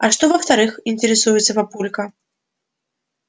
а что во-вторых интересуется папулька